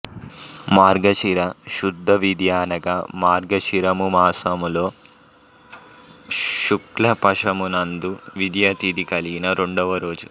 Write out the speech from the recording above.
మార్గశిర శుద్ధ విదియ అనగా మార్గశిరమాసములో శుక్ల పక్షము నందు విదియ తిథి కలిగిన రెండవ రోజు